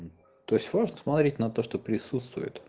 то есть сможете смотреть на то что пристуствует